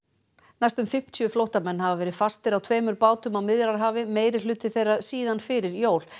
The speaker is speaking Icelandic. næstum fimmtíu flóttamenn hafa verið fastir á tveimur bátum á Miðjarðarhafi meirihluti þeirra síðan fyrir jól